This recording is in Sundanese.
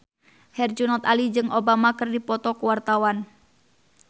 Herjunot Ali jeung Obama keur dipoto ku wartawan